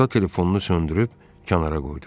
Musa telefonunu söndürüb kənara qoydu.